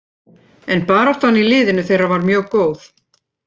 En baráttan í liðinu þeirra var mjög góð.